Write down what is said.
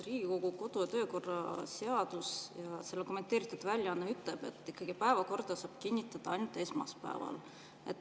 Riigikogu kodu- ja töökorra seaduse kommenteeritud väljaanne ütleb, et päevakorda saab kinnitada ainult esmaspäeval.